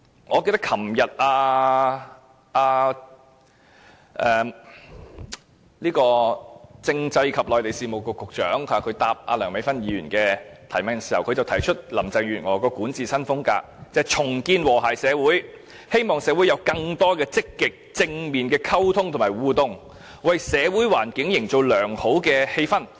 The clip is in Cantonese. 我記得政制及內地事務局局長昨天回答梁美芬議員的提問時，提出林鄭月娥的管治新風格，就是重建和諧社會，希望社會有更多積極、正面的溝通和互動，為社會環境營造良好氣氛。